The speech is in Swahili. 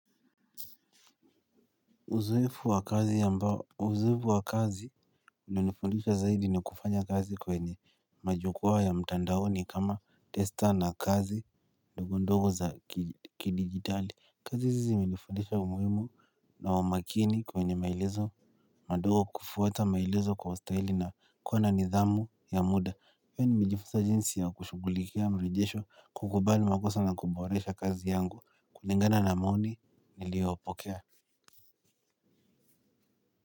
Uzoefu wa kazi ya mbao, uzoefu wa kazi ilinifundisha zaidi ni kufanya kazi kwenye majukwaa ya mtandaoni kama testa na kazi ndogondogo za kidigitali. Kazi hizi zimenifundisha umuhimu na umakini kwenye maelezo madogo kufuata maelezo kwa ustahili na kuwa na nidhamu ya muda. Pia nimejifunza jinsi ya kushugulikia mrejesho kukubali makosa na kuboresha kazi yangu kulingana na maoni niliyopokea.